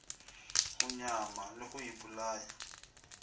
go nyama le go ipolaya